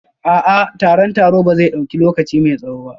A'a, taron taro ba zai dauki lokaci mai tsawo ba